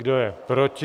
Kdo je proti?